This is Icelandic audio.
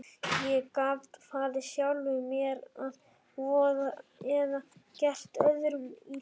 Ég gat farið sjálfum mér að voða eða gert öðrum illt.